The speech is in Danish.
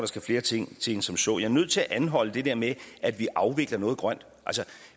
skal flere ting til end som så jeg er nødt til at anholde det der med at vi afvikler noget grønt